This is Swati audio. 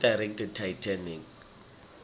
who directed titanic